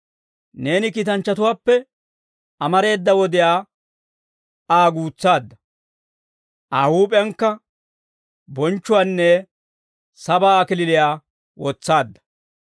Neeni kiitanchchatuwaappe, amareeda wodiyaa Aa guutsaadda. Aa huup'iyankka bonchchuwaanne, sabaa kalachchaa wotsaadda.